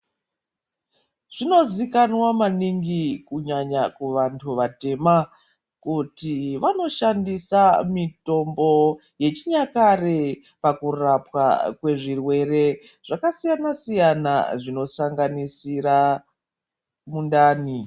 Zvinozikanwa maningi kunyanya kuvanthu vatema kuti vanoshandisa mitombo yechinyakare pakurapwa kwezvirwere zvakasiyana siyana zvinosanganisira mundani.